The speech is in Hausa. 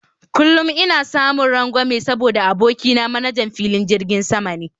Kullum ina samun rangwame saboda abokina manajan filin jirgin sama ne